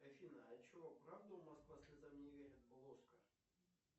афина а че правда у москва слезам не верит был оскар